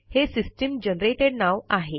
हे system generated नाव आहे